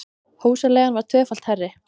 Húsaleigan var tvöfalt hærri